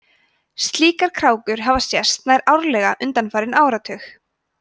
slíkar krákur hafa sést nær árlega undanfarna áratugi